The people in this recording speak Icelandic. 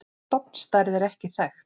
Stofnstærð er ekki þekkt.